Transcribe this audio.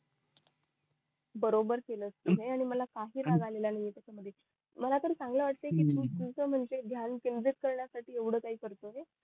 बरोबर केलस तू मला तर चांगलं वाटाय तू ध्यान केंद्रित करण्या साठी तू येवढ काही करतोयस